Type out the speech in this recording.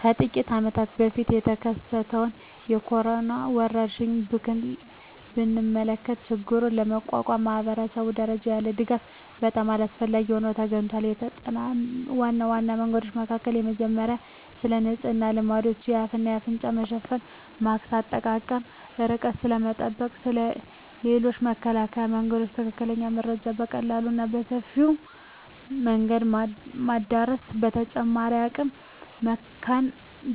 ከጥቂት አመታት በፊት የተከሰተውን የኮሮና ወረርሽኝ ብንመለከ ችግሩን ለመቋቋም ማኅበረሰብ ደረጃ ያለ ድጋፍ በጣም አስፈላጊ ሆኖ ተገኝቷል። የተጠምናቸው ዋና ዋና መንገዶች መካከል የመጀመሪያው ስለንጽህና ልማዶች፣ የአፍ እና አፍንጫ መሸፈኛ ማስክ አጠቃቀም፣ ርቀትን ስለመጠበቅ እና ስለ ሌሎችም የመከላከያ መንገዶች ትክክለኛ መረጃ በቀላሉ እና በሰፊው መንገድ ማዳረስ። በተጨማሪም አቅመ